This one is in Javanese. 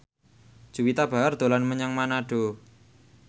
Juwita Bahar dolan menyang Manado